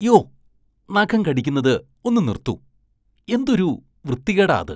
യ്യോ! നഖം കടിക്കുന്നത് ഒന്ന് നിര്‍ത്തു. എന്തൊരു വൃത്തികേടാ അത്.